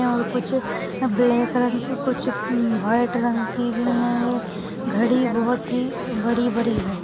है और कुछ ब्लैक रंग की कुछ व्हाईट रंग की भी है घड़ी बहुत ही बड़ी बड़ी है।